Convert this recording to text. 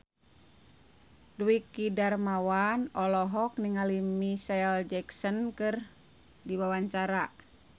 Dwiki Darmawan olohok ningali Micheal Jackson keur diwawancara